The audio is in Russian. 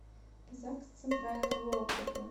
загс центрального округа